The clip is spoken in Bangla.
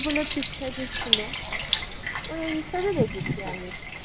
গুলো ঠিক থাক ই ছিল, ওই এইসব ই দেখেছি আমি